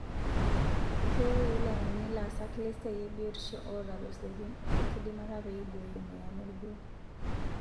Keyieu wilayani laasak lesiai ebiotisho oota losekin o ekidimata pee eiboyoo emoyian olgoo